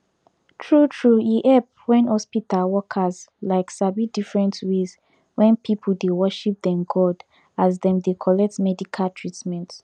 tru tru e epp wen hospita workers like sabi different ways wen pipu dey worship dem god as dem de collect medica treatment